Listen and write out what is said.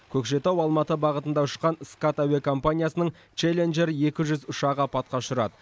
көкшетау алматы бағытында ұшқан скат әуекомпаниясының челленжер екі жүз ұшағы апатқа ұшырады